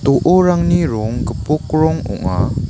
do·orangni rong gipok rong ong·a.